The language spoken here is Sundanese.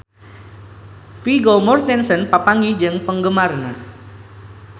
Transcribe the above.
Vigo Mortensen papanggih jeung penggemarna